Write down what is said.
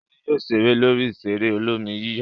Ṣadé yóò ṣeré lórí ìṣeré olómi-yíyọ̀.